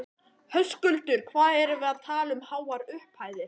Höskuldur: Hvað erum við að tala um háar upphæðir?